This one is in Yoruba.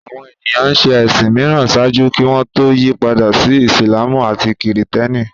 Àwọn ènìyàn ń ṣe ẹ̀sìn mìíràn ṣáájú kí wọ́n tó yí padà sí Ìsìlámù àti Kìrìtẹ́nì